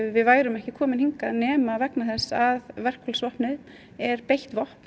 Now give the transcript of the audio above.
við værum ekki komin hingað nema vegna þess að verkfallsvopnið er beitt vopn